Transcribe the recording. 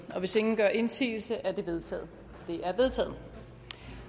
hvis ingen gør indsigelse er det vedtaget